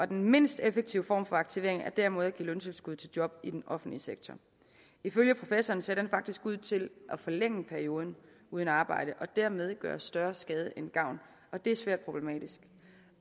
den mindst effektive form for aktivering er derimod at give løntilskud til job i den offentlige sektor ifølge professoren ser det faktisk ud til at forlænge perioden uden arbejde og dermed gøre størst skade end gavn og det er svært problematisk